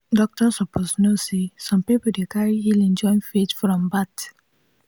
doctor suppose know say some people dey carry healing join faith from birth.